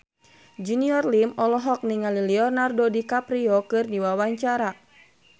Junior Liem olohok ningali Leonardo DiCaprio keur diwawancara